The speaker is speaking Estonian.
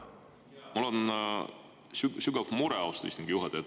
Mul on sügav mure, austatud istungi juhataja.